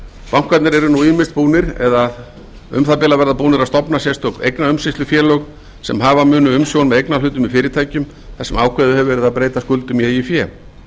bankarnir eru nú ýmis búnir eða um það bil að verða búnir að stofna sérstök eignaumsýslufélög sem hafa munu umsjón með eignarhlutum í fyrirtækjum þar sem ákveðið hefur verið að breyta skuldum í eigið fé